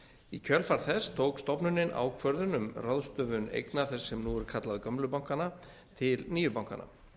í kjölfar þess tók stofnunin ákvörðun um ráðstöfun eigna þess sem nú er kallað gömlu bankanna til nýju bankanna